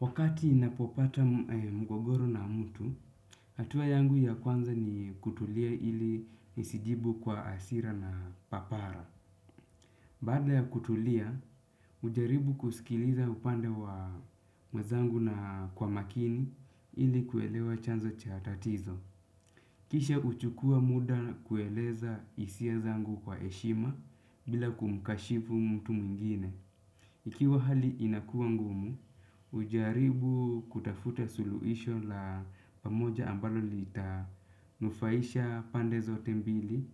Wakati ninapopata mgogoro na mtu, hatua yangu ya kwanza ni kutulia ili nisijibu kwa hasira na papara. Baada ya kutulia, hujaribu kusikiliza upande wa mwenzangu na kwa makini ili kuelewa chanzo cha tatizo. Kisha huchukua muda kueleza hisia zangu kwa heshima bila kumkashifu mtu mwingine. Ikiwa hali inakuwa ngumu, hujaribu kutafuta suluhisho la pamoja ambalo lita nufaisha pande zote mbili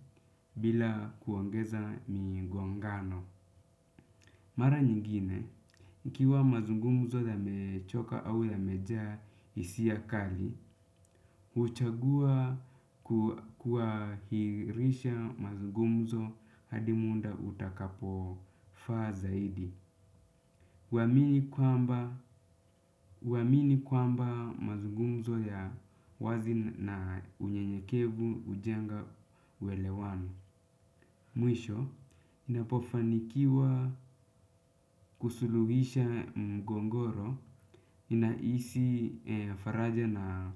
bila kuongeza migongano. Mara nyingine, ikiwa mazungumzo yamechoka au yamejaa hisia kali, huchagua kuahirisha mazungumzo hadi muda utakapo faa zaidi. Uwamini kwamba mazungumzo ya wazi na unyenyekevu hujenga uelewano. Mwisho, inapofanikiwa kusuluhisha mgogoro, inahisi faraja na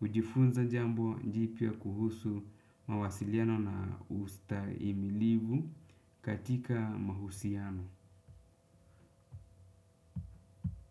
hujifunza jambo jipya kuhusu mawasiliano na ustahimilivu katika mahusiano.